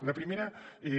la primera és